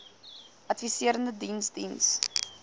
adviserende diens diens